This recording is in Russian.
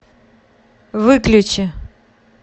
выключи